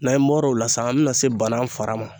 Na n bɔr'o la san an bɛna se bana fara ma